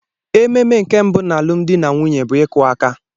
Ememe nke mbụ na alụmdi na nwunye bụ ịkụ aka.